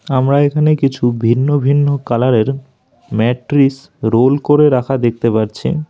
আমরা এখানে কিছু ভিন্ন ভিন্ন কালারের ম্যাট্রিস রোল করে রাখা দেখতে পারছি।